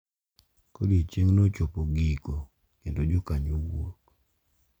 Ka odiechieng’no chopo giko kendo jokanyo wuok .